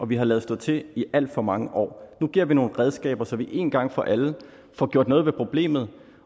vi har ladet stå til i alt for mange år nu giver vi nogle redskaber så vi én gang for alle får gjort noget ved problemet